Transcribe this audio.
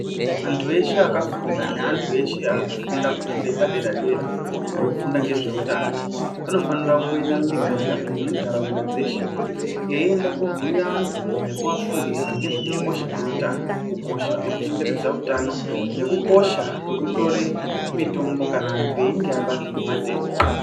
Antu eshe aka funda ne antu eshe ari kufunda fundo yepa dera dera vari kufunda ngezve utano vano fanira kumbo enda mu miganga nemu ndaraunda dzeshe vei enda ko bhuyira vantu nekuva fundisa ngezve ku kosha kwe utano ku kosha kweku chengetedza utano neku kosha kweku tore mitombo kana antu eyinge abatwa nge matenda.